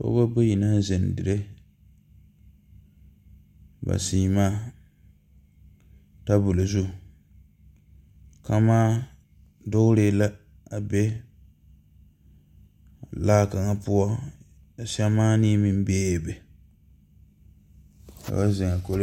Pɔɔbɔ bayi naŋ zeŋ dire ba sèèmaa tabol zu kamaa dugre la a be laa kaŋa poɔ ka sɛmaanee meŋ beebe ba zeŋaa kɔli.